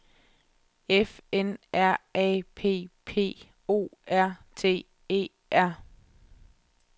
F N R A P P O R T E R